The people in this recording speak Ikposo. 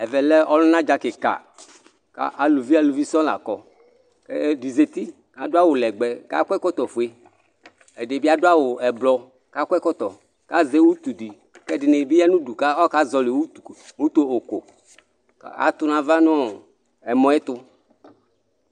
Ɛvɛ lɛ ɔlunadza kika ku aluvi aluvi sɔŋ la kɔ ɛdi za uti adu awu legbɛ ku akɔ ɛkɔtɔ ɔfue ɛdibi adu awu ɛblɔ ku akɔ ɛkɔtɔ ku azɛ utu ku ɛdini bi ya nu udu ku akazɔli utoɣoku atu nu ava nu ɛmɔ yɛ tu